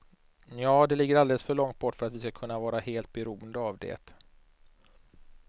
Nja, det ligger alldeles för långt bort för att vi ska kunna vara helt beroende av det.